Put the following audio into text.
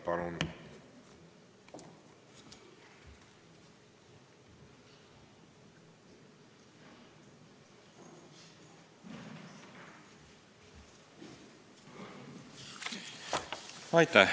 Palun!